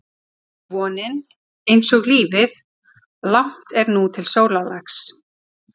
einsog vonin, einsog lífið- langt er nú til sólarlags.